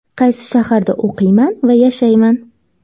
Qaysi shaharda o‘qiyman va yashayman?